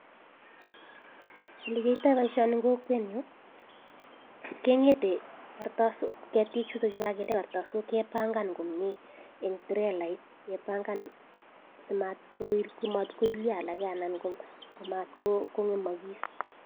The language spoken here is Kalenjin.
Olekiatai paishonik eng kwokwet nyuu kenget ketik chutaktu chekakende kartasokkee pangan komie eng turelait simatkoilya alake anan kongemakis